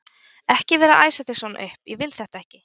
ekki vera að æsa þig svona upp. ég vil þetta ekki!